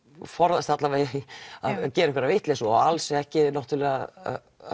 forðast að gera einhverja vitleysu og alls ekki náttúrulega að